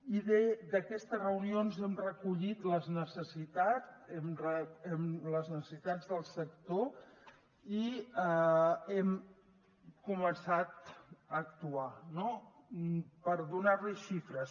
i d’aquestes reunions hem recollit les necessitats del sector i hem començat a actuar no per donar li xifres